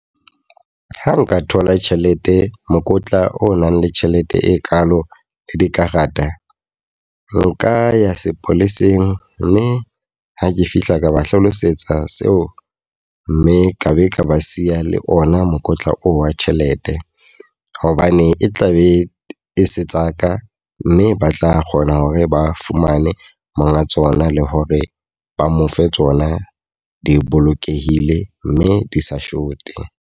Ha nka thola tjhelete, mokotla o nang le tjhelete e kalo le dikarata. Nka ya sepoleseng mme ha ke fihla ka ba hlalosetsa seo mme ka be ka ba siya le ona mokotla oo wa tjhelete. Hobane e tla be e se tsa ka. Mme ba tla kgona hore ba fumane monga tsona, le hore ba mo fe tsona di bolokehile mme di sa short-e.